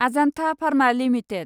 Ajanta pharma limited